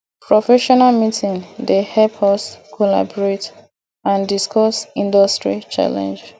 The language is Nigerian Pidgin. professional meeting dey help us collaborate and discuss industry challenges